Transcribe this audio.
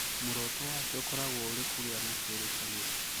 Muoroto wake ũkoragwo ũrĩ kũgĩa na kĩrĩkanĩro